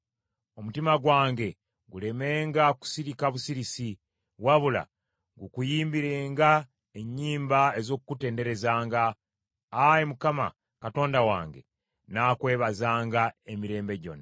Omutima gwange gulemenga kusirika busirisi, wabula gukuyimbirenga ennyimba ez’okukutenderezanga. Ayi Mukama , Katonda wange, nnaakwebazanga emirembe gyonna.